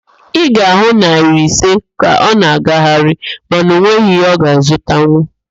Ị ga-ahụ naịra ise ka ọ na-agagharị mana ọ nweghị ihe ọ ga-azụtanwu